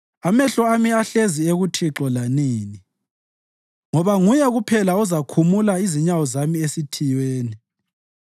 Amehlo ami ahlezi ekuThixo lanini, ngoba nguye kuphela ozakhumula inyawo zami esithiyweni.